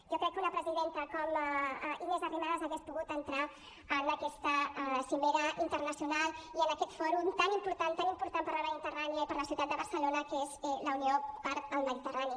jo crec que una presidenta com inés arrimadas hauria pogut entrar en aquesta cimera internacional i en aquest fòrum tan important tan important per a la mediterrània i per a la ciutat de barcelona que és la unió pel mediterrani